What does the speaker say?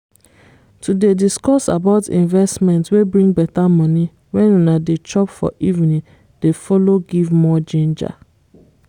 to dey disscuss about investment wey bring better money when una dey chop for evening dey follow give more ginger